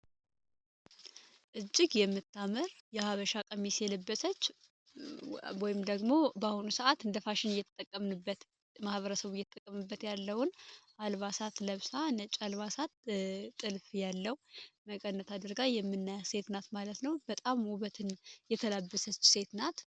እጅግ የምታምር የሀበሻ ቀሚሴ የለበሰች ወይም ደግሞ በአሁኑ ሰዓት እንደተጠቀምንበት ማህበረሰቡ እየጠቀምበት ያለውን አልባሳት ለብሳ ነባሳት ጥልፍ ያለው አድርጋ ሴት ናት ማለት ነው በጣም ውበትን የተለበሰች ሴት ናት